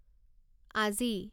আজি